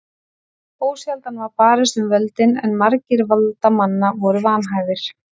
Ósjaldan var barist um völdin en margir valdamanna voru vanhæfir.